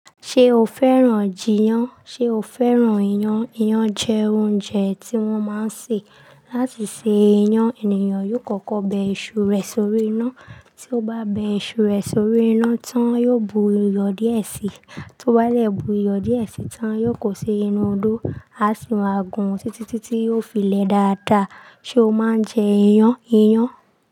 Ṣé o fẹ́ràn jiyán, ṣe o fẹ́ràn iyán? Iyán jẹ́ oúnjẹ tí wọ́n máa ń ṣe. Láti ṣe iyán, ènìyàn yóò kọ́kọ́ bẹ iṣu rẹ̀ sórí iná. Tí ó bá bẹ iṣu rẹ̀ sórí iná tán, yóò buyọ díẹ̀ síi. Tó bá lẹ̀ buyọ díẹ̀ síi tán, yóò kó ṣe inú odó, á sì wá gùn títí tí yóò fi le dada. Sé o máa ń jẹ iyán? Iyán.